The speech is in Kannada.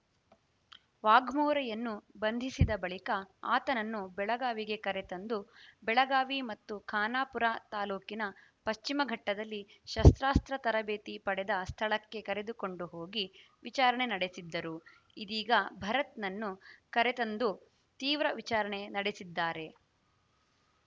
ವಾಘ್ಮೋರೆಯನ್ನು ಬಂಧಿಸಿದ ಬಳಿಕ ಆತನನ್ನು ಬೆಳಗಾವಿಗೆ ಕರೆತಂದು ಬೆಳಗಾವಿ ಮತ್ತು ಖಾನಾಪುರ ತಾಲೂಕಿನ ಪಶ್ಚಿಮ ಘಟ್ಟದಲ್ಲಿ ಶಸ್ತ್ರಾಸ್ತ್ರ ತರಬೇತಿ ಪಡೆದ ಸ್ಥಳಕ್ಕೆ ಕರೆದುಕೊಂಡು ಹೋಗಿ ವಿಚಾರಣೆ ನಡೆಸಿದ್ದರು ಇದೀಗ ಭರತ್‌ನನ್ನು ಕರೆತದಂದು ತೀವ್ರ ವಿಚಾರಣೆ ನಡೆಸಿದ್ದಾರೆ